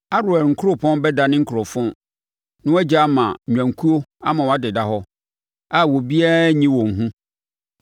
Aroer nkuropɔn bɛdane nkurofon na wɔagya ama nnwankuo ama wɔadeda hɔ, a obiara renyi wɔn hu.